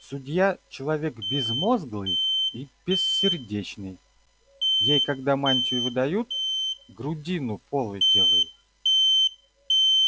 судья человек безмозглый и бессердечный ей когда мантию выдают грудину полой делают